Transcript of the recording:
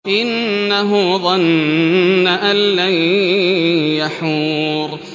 إِنَّهُ ظَنَّ أَن لَّن يَحُورَ